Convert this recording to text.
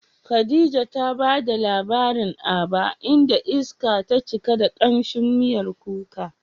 Khadija ta bada labarin Aba, inda iska ta cika da kamshin miyar kuka.